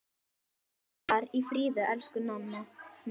Far í friði, elsku Ninna.